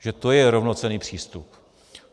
Takže to je rovnocenný přístup.